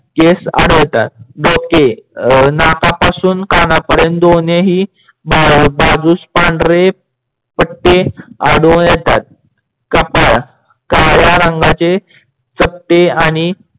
केस आढळतात. डोके नाकापासून कानपर्यंत दोन्ही बाजूस पांढरे पट्टे आढळून येतात. कपाड काड्या रंगाचे चपटे आणि